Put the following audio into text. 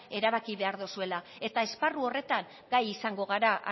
erabaki behar dozuela eta esparru horretan gai izango gara